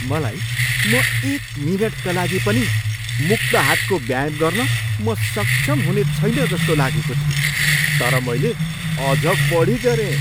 मैलाई म एक मिनेटका लागि पनि मुक्त हातको व्यायाम गर्न म सक्षम हुनेछैन जस्तो लागेको थियो, तर मैले अझ बढी गरेँ।